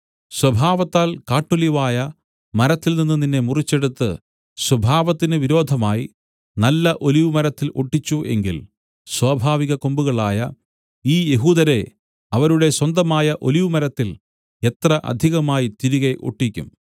സ്വഭാവത്താൽ കാട്ടൊലിവായ മരത്തിൽനിന്നു നിന്നെ മുറിച്ചെടുത്തു സ്വഭാവത്തിന് വിരോധമായി നല്ല ഒലിവുമരത്തിൽ ഒട്ടിച്ചു എങ്കിൽ സ്വാഭാവികകൊമ്പുകളായ ഈ യഹൂദരെ അവരുടെ സ്വന്തമായ ഒലിവുമരത്തിൽ എത്ര അധികമായി തിരികെ ഒട്ടിക്കും